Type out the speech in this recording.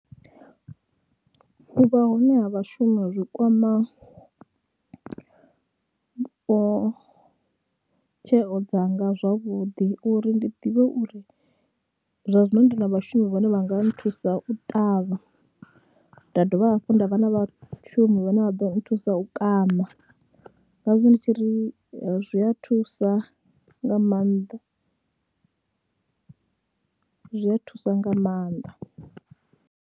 U vha hone ha vhashumi zwi kwama tsheo dzanga zwavhuḓi uri ndi ḓivhe uri zwa zwino ndi na vhashumi vhane vha nga nthusa u ṱavha, nda dovha hafhu nda vha na vhashumi vhane vha ḓo thusa u kaṋa, ngazwo ndi tshi ri zwi a thusa nga maanḓa, zwi a thusa nga maanḓa.